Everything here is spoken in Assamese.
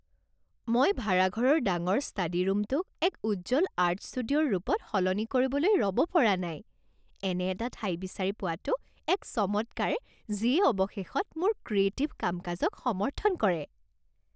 মই ভাড়াঘৰৰ ডাঙৰ ষ্টাডীৰূমটোক এক উজ্জ্বল আৰ্ট ষ্টুডিঅ'ৰ ৰূপত সলনি কৰিবলৈ ৰ'ব পৰা নাই। এনে এটা ঠাই বিচাৰি পোৱাটো এক চমৎকাৰ যিয়ে অৱশেষত মোৰ ক্ৰিয়েটিভ কাম কাজক সমৰ্থন কৰে।